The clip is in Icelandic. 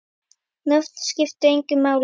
Nöfn skipta engu máli.